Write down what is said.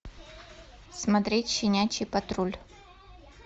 смотреть щенячий патруль